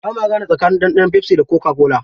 Bama gane tsakanin ɗanɗanon pepsi da coca-cola.